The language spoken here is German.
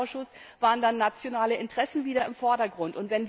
Im Fischereiausschuss waren da nationale Interessen wieder im Vordergrund.